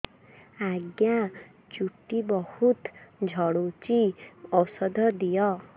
ଆଜ୍ଞା ଚୁଟି ବହୁତ୍ ଝଡୁଚି ଔଷଧ ଦିଅ